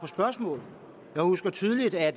spørgsmål jeg husker tydeligt at